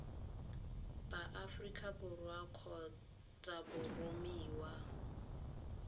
ba aforika borwa kgotsa boromiwang